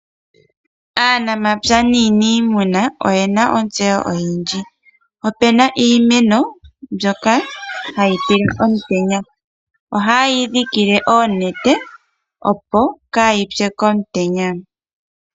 Aanamapya naaniimuna oyena ontseyo oyindji. Opuna iimeno mbyoka hayi tila omutenya ohaye yi dhikile oonete opo kaa yi pye komutenya.